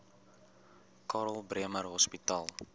karl bremer hospitaal